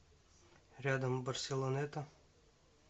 рядом барселонета